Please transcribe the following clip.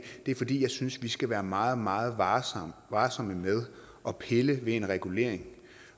det er fordi jeg synes at vi skal være meget meget varsomme varsomme med at pille ved en regulering